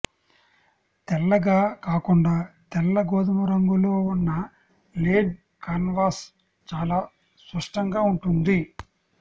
తెల్లగా కాకుండా తెల్ల గోధుమ రంగులో ఉన్న లేన్ కాన్వాస్ చాలా స్పష్టంగా ఉంటుంది